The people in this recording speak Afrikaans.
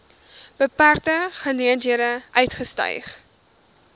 beperkte geleenthede uitgestyg